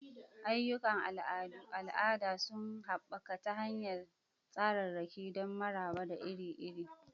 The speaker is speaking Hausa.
Ayyukan al'ada sun haɓaka ta hanyar tsararraki don maraba da iri-iri.